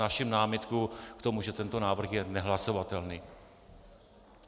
Vznáším námitku k tomu, že tento návrh je nehlasovatelný.